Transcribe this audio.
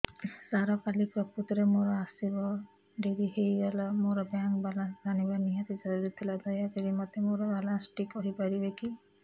ସାର କାଲି ପ୍ରକୃତରେ ମୋର ଆସିବା ଡେରି ହେଇଗଲା ମୋର ବ୍ୟାଙ୍କ ବାଲାନ୍ସ ଜାଣିବା ନିହାତି ଜରୁରୀ ଥିଲା ଦୟାକରି ମୋତେ ମୋର ବାଲାନ୍ସ ଟି କହିପାରିବେକି